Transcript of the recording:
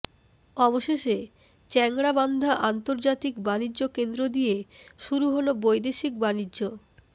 অবশেষে চ্যাংড়াবান্ধা আন্তর্জাতিক বাণিজ্যকেন্দ্র দিয়ে শুরু হল বৈদেশিক বাণিজ্য